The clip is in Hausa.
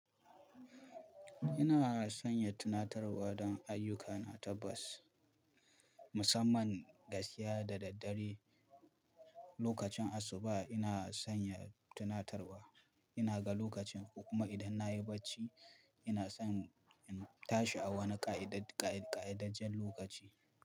Ina sanya tunatarwa don ayyukana tabbas, musamman gaskiya da daddare. Lokacin asuba ina sanya tunatarwa, ina ga lokacin kuma idan na yi bacci ina son in tashi a wani ƙa'idar ƙa'ida ƙa'idajjen lokaci.